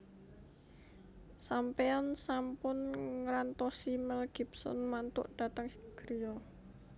Sampean sampun ngrantosi Mel Gibson mantuk dateng griya